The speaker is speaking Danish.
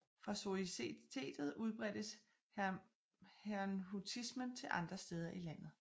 Fra societetet udbredtes herrnhutismen til andre steder i landet